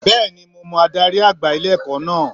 Bẹ́ẹ̀nimo mọ adarí àgbà ilé-ẹ̀kọ́ náà